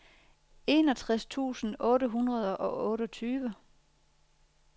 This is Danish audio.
enogtres tusind otte hundrede og otteogtyve